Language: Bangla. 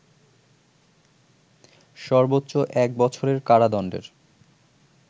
সর্বোচ্চ এক বছরের কারাদণ্ডের